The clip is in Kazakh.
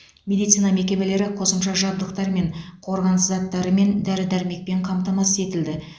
медицина мекемелері қосымша жабдықтармен қорғаныс заттарымен дәрі дәрмекпен қамтамасыз етілді